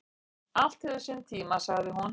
"""Allt hefur sinn tíma, sagði hún."""